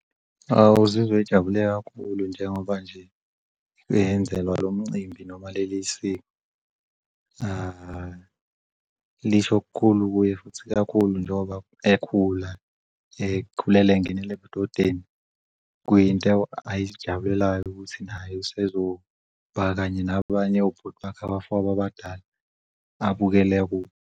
Uzizwe jabule kakhulu njengoba nje eyenzelwa lo mcimbi noma leli siko. Lisho kukhulu kuye futhi kakhulu njengoba ekhula engenele budodeni. Kuyinto ayijabulelayo naye ukuthi naye usesoba kanye nabanye obhuti bakhe nabafowabo abadala, abukele kubo.